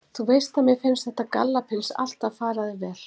Þú veist að mér finnst þetta gallapils alltaf fara þér jafnvel.